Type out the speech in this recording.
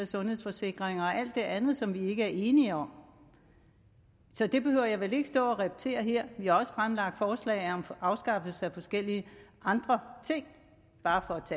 sundhedsforsikringer og alt det andet som vi ikke er enige om så det behøver jeg vel ikke stå og repetere her vi har også fremsat forslag om afskaffelse af forskellige andre ting bare for